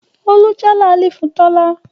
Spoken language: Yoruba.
Olú já làálì fún Tọ́lá